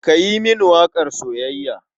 Ka yi mini waƙar soyayya.